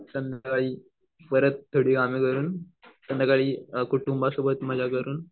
संध्याकाळी परत संध्याकाळी कुटुंबासोबत मजा करून